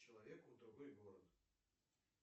человеку в другой город